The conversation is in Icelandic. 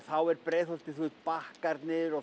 þá er Breiðholtið bakkarnir og